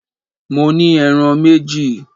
Mo ní ẹran méjì!